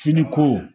Finiko